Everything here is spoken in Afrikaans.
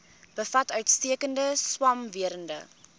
bevat uitstekende swamwerende